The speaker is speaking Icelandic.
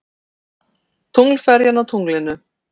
Tunglferjan á tunglinu.